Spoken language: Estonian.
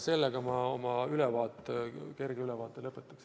Sellega ma oma kerge ülevaate lõpetan.